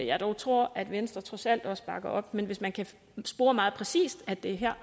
jeg dog tror at venstre trods alt også bakker op men hvis man kan spore meget præcist at det er her